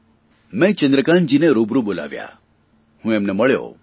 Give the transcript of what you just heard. મેં ચંદ્રકાન્તજીને રૂબરૂ બોલાવ્યા હું એમને મળ્યો